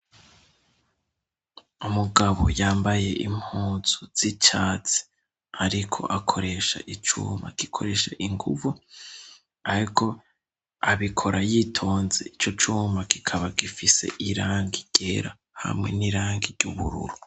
umugabo yambaye impuzu y'icatsi ariko akoresha icuma gikoresha inguvu ariko abikora yitonze ico cuma kikaba gifise irangi ryera hamwe n'irangi ry'ubururu